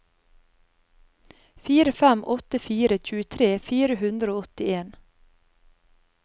fire fem åtte fire tjuetre fire hundre og åttien